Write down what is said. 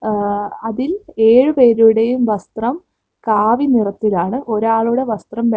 ആ അതിൽ എഴുപേരുടേയും വസ്ത്രം കാവിനിറത്തിലാണ് ഒരാളുടെ വസ്ത്രം വെ--